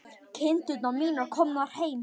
Kindur mínar komnar heim.